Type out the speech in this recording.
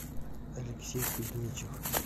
алексей кузьмичев